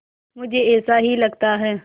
मुझे ऐसा ही लगता है